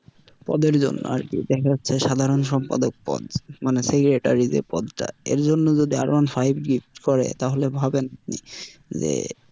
পদের জন্য আর কি দেখা যাচ্ছে সাধারণ সম্পাদক পদ মানে secretary যে পদ টা এর জন্য যদি R one five gift করে তাহলে ভাবেন যে,